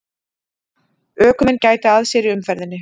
Ökumenn gæti að sér í umferðinni